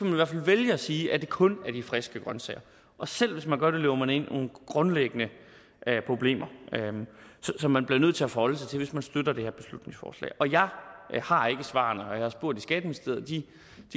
i hvert fald vælge at sige at det kun er de friske grønsager og selv hvis man gør det løber man ind i grundlæggende problemer som man bliver nødt til at forholde sig til hvis man støtter det her beslutningsforslag og jeg har ikke svarene og jeg har spurgt i skatteministeriet de